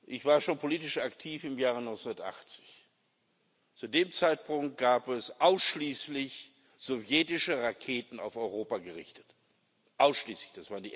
Ich war schon politisch aktiv im Jahr 1980. Zu dem Zeitpunkt gab es ausschließlich sowjetische Raketen, auf Europa gerichtet ausschließlich.